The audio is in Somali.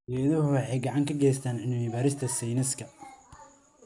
Geeduhu waxay gacan ka geystaan ??cilmi-baarista sayniska.